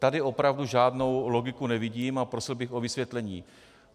Tady opravdu žádnou logiku nevidím a prosil bych o vysvětlení.